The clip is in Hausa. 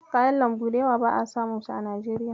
Kayan lambu da yawa ba'a samu su a Najeriya.